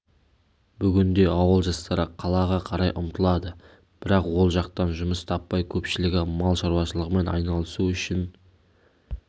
бүгінде ауыл жастары қалаға қарай ұмтылады бірақ ол жақтан жұмыс таппай көпшілігі мал шаруашылығымен айналысу үшін